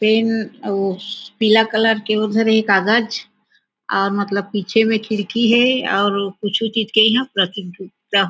PAN अउ पीला colour के ओ धरे हे कागज अउ मतलब पीछे म खिड़की हे अउ कुछु चीज के यहाँ प्रतियोगिता--